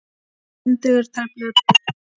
En dugir tæplega til.